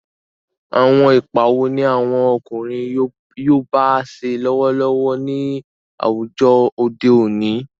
Àwọn ipa wo ni àwọn ọkùnrin yoòbá ṣe lọ́wọ́lọ́wọ́ ní àwùjọ òde òní?